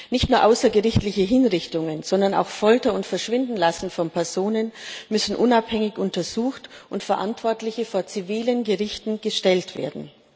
Nicht nur außergerichtliche Hinrichtungen, sondern auch Folter und Verschwindenlassen von Personen müssen unabhängig untersucht und Verantwortliche vor zivile Gerichte gestellt werden.